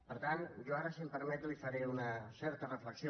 per tant jo ara si m’ho permet li faré una certa reflexió